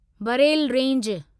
Barail range